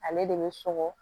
Ale de bɛ sɔgɔ